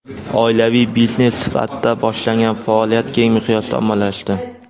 Oilaviy biznes sifatida boshlangan faoliyat keng miqyosda ommalashdi.